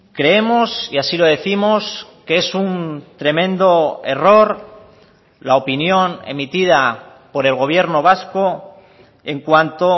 creemos y así lo décimos que es un tremendo error la opinión emitida por el gobierno vasco en cuanto